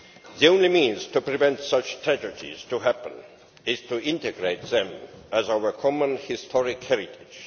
The only means to prevent such tragedies from happening is to integrate them as our common historic heritage.